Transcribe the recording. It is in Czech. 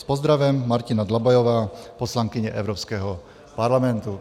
S pozdravem Martina Dlabajová, poslankyně Evropského parlamentu.